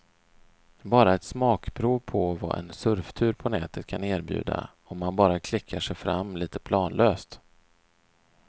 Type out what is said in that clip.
Bara ett smakprov på vad en surftur på nätet kan erbjuda om man bara klickar sig fram lite planlöst.